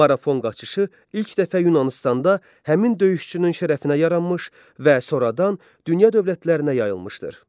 Marafon qaçışı ilk dəfə Yunanıstanda həmin döyüşçünün şərəfinə yaranmış və sonradan dünya dövlətlərinə yayılmışdır.